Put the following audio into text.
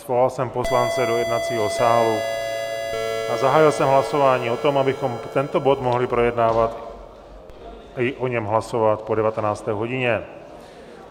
Svolal jsem poslance do jednacího sálu a zahájil jsem hlasování o tom, abychom tento bod mohli projednávat i o něm hlasovat po 19. hodině.